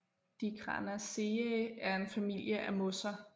Dicranaceae er en familie af mosser